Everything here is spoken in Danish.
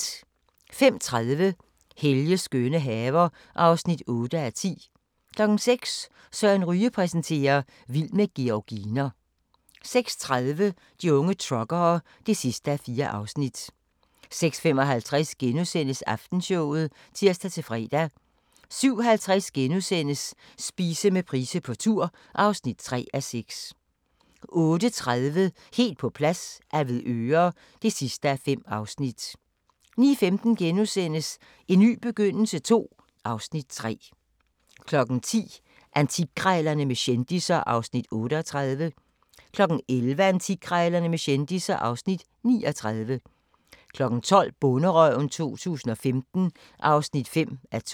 05:30: Helges skønne haver (8:10) 06:00: Søren Ryge præsenterer: Vild med georginer 06:30: De unge truckere (4:4) 06:55: Aftenshowet *(tir-fre) 07:50: Spise med Price på tur (3:6)* 08:30: Helt på plads - Avedøre (5:5) 09:15: En ny begyndelse II (Afs. 3)* 10:00: Antikkrejlerne med kendisser (Afs. 38) 11:00: Antikkrejlerne med kendisser (Afs. 39) 12:00: Bonderøven 2015 (5:12)